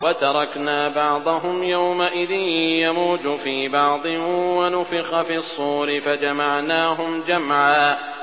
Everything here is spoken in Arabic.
۞ وَتَرَكْنَا بَعْضَهُمْ يَوْمَئِذٍ يَمُوجُ فِي بَعْضٍ ۖ وَنُفِخَ فِي الصُّورِ فَجَمَعْنَاهُمْ جَمْعًا